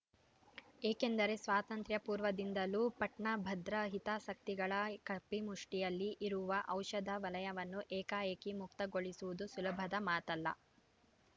ಏಕೆಂದರೆ ಸ್ವಾತಂತ್ರ್ಯ ಪೂರ್ವದಿಂದಲೂ ಪಟ್ಟಭದ್ರ ಹಿತಾಸಕ್ತಿಗಳ ಕಪಿಮುಷ್ಟಿಯಲ್ಲಿ ಇರುವ ಔಷಧ ವಲಯವನ್ನು ಏಕಾಏಕಿ ಮುಕ್ತಗೊಳಿಸುವುದು ಸುಲಭದ ಮಾತಲ್ಲ